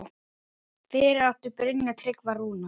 Fyrir átti Brynjar Tryggva Rúnar.